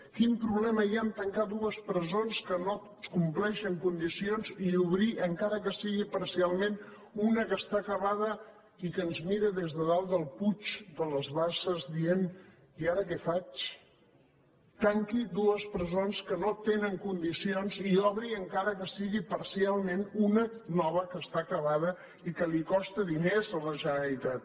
quin problema hi ha en tancar dues presons que no compleixen condicions i obrir encara que sigui parcialment una que està acabada i que ens mira des de dalt del puig de les basses dient i ara què faig tanqui dues presons que no tenen condicions i obri encara que sigui parcialment una nova que està acabada i que li costa diners a la generalitat